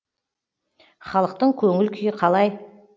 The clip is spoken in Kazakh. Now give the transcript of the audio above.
халықтың көңіл күйі қалай